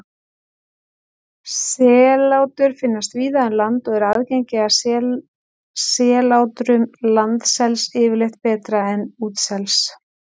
Sellátur finnast víða um land og er aðgengi að sellátrum landsels yfirleitt betra en útsels.